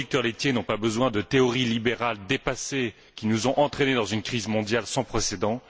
Ils n'ont pas besoin de théories libérales dépassées qui nous ont entraînés dans une crise mondiale sans précédent.